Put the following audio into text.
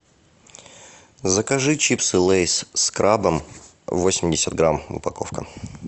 закажи чипсы лейс с крабом восемьдесят грамм упаковка